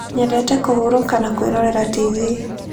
Nyendete kũhurũka na kwĩrorera tv.